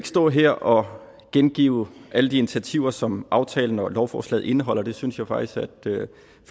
stå her og gengive alle de initiativer som aftalen og lovforslaget indeholder det synes jeg faktisk at flere af